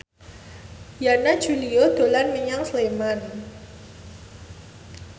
Yana Julio dolan menyang Sleman